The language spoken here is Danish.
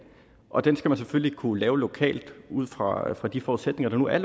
og den skal man selvfølgelig kunne lave lokalt ud fra fra de forudsætninger der nu er